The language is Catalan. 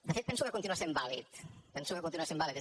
de fet penso que continua sent vàlid penso que continua sent vàlid